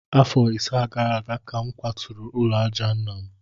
Afọ ise gara aga ka m kwaturu ụlọ àjà nna m